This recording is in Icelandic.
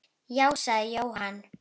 Já, sagði Jóhann.